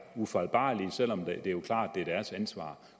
ufejlbarlige selv om det jo er klart at det er deres ansvar